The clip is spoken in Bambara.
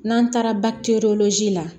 N'an taara la